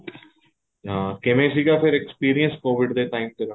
ਹਾਂ ਕਿਵੇਂ ਸੀਗਾ ਫ਼ਿਰ experience COVID ਦੇ time ਤੇਰਾ